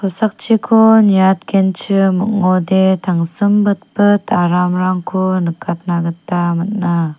niatgenchim ong·ode tangsimbitbit aramrangko nikatna gita man·a.